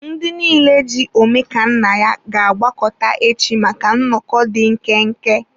Ndị niile ji Omekannaya ga-agbakọta echi maka nnọkọ dị nkenke.